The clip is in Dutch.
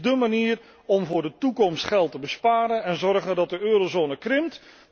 Dit is dé manier om voor de toekomst geld te besparen en te zorgen dat de eurozone krimpt.